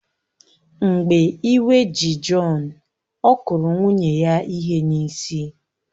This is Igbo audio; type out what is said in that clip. Mgbe iwe ji Jọn, ọ kụrụ nwunye ya ihe n’isi